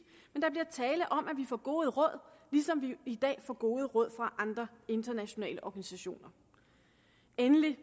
der bliver tale om at vi får gode råd ligesom vi i dag får gode råd fra andre internationale organisationer endelig